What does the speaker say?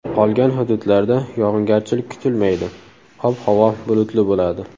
Qolgan hududlarda yog‘ingarchilik kutilmaydi, ob-havo bulutli bo‘ladi.